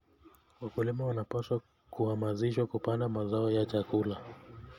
Wakulima wanapaswa kuhamasishwa kupanda mazao ya chakula.